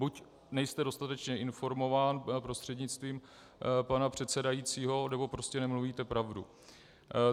Buď nejste dostatečně informován, prostřednictvím pana předsedajícího, nebo prostě nemluvíte pravdu.